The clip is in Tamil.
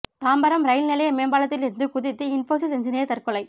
தாம்பரம் ரயில் நிலைய மேம்பாலத்தில் இருந்து குதித்து இன்போசிஸ் என்ஜினியர் தற்கொலை